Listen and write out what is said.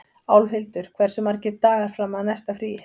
Álfhildur, hversu margir dagar fram að næsta fríi?